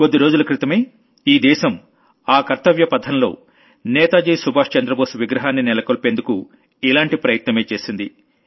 కొద్ది రోజుల క్రితమే ఈ దేశం ఆ కర్తవ్య పథంలో నేతాజీ సుభాష్ చంద్రబోస్ విగ్రహాన్ని నెలకొల్పేందుకు ఇలాంటి ప్రయత్నమే చేసింది